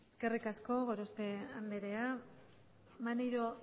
eskerrik asko gorospe andrea maneiro